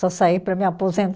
Só saí para me